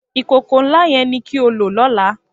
Ikókó n lá yèn ni ki ó ló lòlá